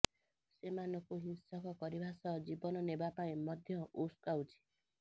ସେମାନଙ୍କୁ ହିଂସକ କରିବା ସହ ଜୀବନ ନେବା ପାଇଁ ମଧ୍ୟ ଉସକାଉଛି